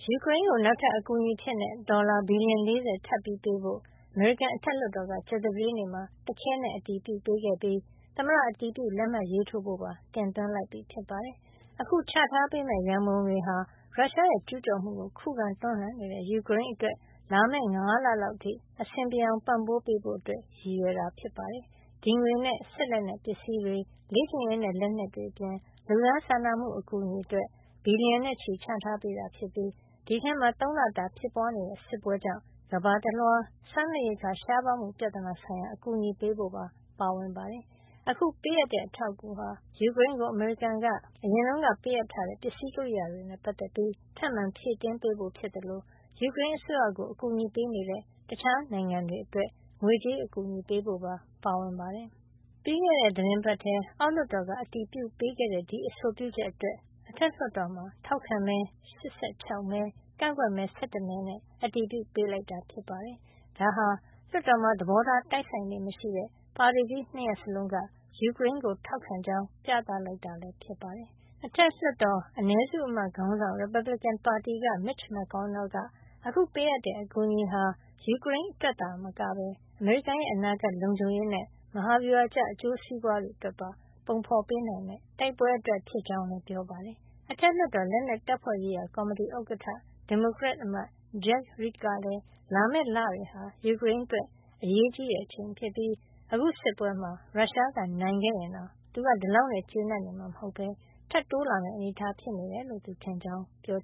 ယူကရိန်းကို နောက်ထပ် အကူအညီအဖြစ် ဒေါ်လာ ဘီလီယံ ၄၀ ထပ်ပေးဖို့ အမေရိကန်အထက်လွှတ်တော်က ကြာသပတေးနေ့မှာ တခဲနက် အတည်ပြုပေးခဲ့ပြီး သမ္မတအတည်ပြု လက်မှတ်ရေးထိုးဖို့ပါ တင်သွင်းလိုက်ပြီဖြစ်ပါတယ်။ အခုချထားပေးမယ့် ရံပုံငွေဟာ ရုရှားရဲ့ ကျူးကျော်မှုကို ခုခံတွန်းလှန်နေတဲ့ ယူကရိန်းအတွက် လာမယ့် ၅ လလောက်အထိ အဆင်ပြေအောင် ပံ့ပိုးပေးဖို့ ရည်ရွယ်တာ ဖြစ်ပါတယ်။ ဒီငွေနဲ့ စစ်လက်နက်ပစ္စည်းတွေ၊ လေ့ကျင့်ရေးနဲ့ လက်နက်တွေအပြင် လူသားစာနာမှု အကူညီအတွက် ဘီလီယံနဲ့ချီ ချထားပေးတာ ဖြစ်ပြီး ဒီအထဲမှာ ၃ လတာ ဖြစ်ပွါးနေတဲ့ စစ်ပွဲကြောင့် ကမ္ဘာတလွှား စားနပ်ရိက္ခာ ရှားပါးမှုပြဿနာဆိုင်ရာ အကူအညီပေးဖို့ပါ ပါဝင်ပါတယ်။ အခုပေးအပ်တဲ့ အထာက်အကူဟာ ယူကရိန်းကို အမေရိကန် အရင်ကပေးအပ်ထားတဲ့ ပစ္စည်းကရိယာတွေနဲ့ပတ်သက်ပြီး ထပ်မံဖြည့်တင်းပေးဖို့ ဖြစ်သလို ယူကရိန်းအစိုးရကို အကူညီပေးနေတဲ့ တခြားနိုင်ငံတွေအတွက် ငွေကြေးအကူအညီပေးဖို့ပါ ပါဝင်ပါတယ်။ ပြီးခဲ့တဲ့ သီတင်းပတ်ထဲ အောက်လွှတ်တော်က အတည်ပြုပေးခဲ့တဲ့ ဒီအဆိုပြုချက်အတွက် အထက်လွှတ်တော်မှာ ထောက်ခံမဲ ၈၆ မဲ ကန့်ကွက်မဲ ၁၁ မဲနဲ့ အတည်ပြုပေးလိုက်တာ ဖြစ်ပါတယ်။ ဒါဟာ လွှတ်တော်မှာ သဘောထားတိုက်ဆိုင်လေ့ မရှိတဲ့ ပါတီကြီး ၂ ရပ်စလုံးက ယူကရိန်းကို ထောက်ခံကြောင်း ပြသလိုကတာလည်း ဖြစ်ပါတယ်။ အထက်လွှတ်တော် အနည်းစုအမတ်ခေါင်းဆောင် ရီပတ်ဘလစ်ကင်ပါတီက Mitch McConnell က အခုပေးအပ်တဲ့ အကူညီဟာ ယူကရိန်းအတွက်သာမကပဲ အမေရိကန်နိုင်ငံရဲ့ အနာဂတ်လုံခြုံရေးနဲ့ မဟာဗျူဟာကျ အကျိုးစီးပွါးတွေအတွက်ပါ ပုံဖေါ်ပေးနိုင်မယ့် တိုက်ပွဲအတွက် ဖြစ်ကြောင်း ပြောပါတယ်။ အထက်လွှတ်တော် လက်နက်တပ်ဖွဲ့ရေးရာ ကော်မတီဥက္ကဌ ဒီမိုကရက်အမတ် Jack Reed ကလည်း လာမယ့် လတွေဟာ ယူကရိန်းအတွက် အရေးကြီးတဲ့ အချိန်ဖြစ်ပြီး၊ အခု စစ်ပွဲမှာ ရုရှားက နိုင်ခဲ့ရင်တောင် သူကဒီလောက်နဲ့ ကျေနပ်မှာမဟုတ်ပဲ ထပ်တိုးလာမယ့် အနေထား ဖြစ်နေတယ်လို့ သူထင်ကြောင်းလည်း ပြော